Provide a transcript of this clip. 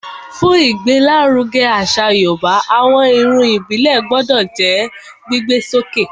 Fún ìgbé l'áruge àṣà yorùbá, àwọn Irun ìbílè gbodò jó gbígbé sókè